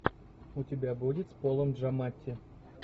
у тебя будет с полом джаматти